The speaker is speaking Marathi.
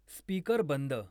स्पीकर बंद